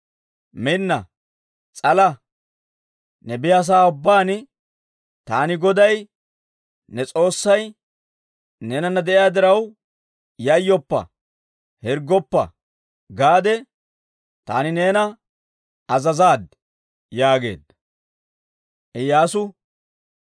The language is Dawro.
Minna; s'ala! Ne biyaasa'aa ubbaan taani Goday ne S'oossay neenana de'iyaa diraw, yayyoppa! Hirggoppa! gaade taani neena azazaad» yaageedda.